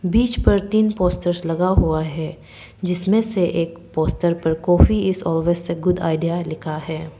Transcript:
बीच पर तीन पोस्टर्स लगा हुआ है जिसमें से एक पोस्टर पर काफी इज ऑलवेज से गुड आईडिया लिखा है।